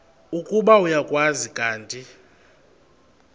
ukuba uyakwazi kanti